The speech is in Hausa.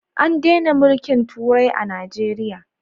An dena mulkin turai a najeriya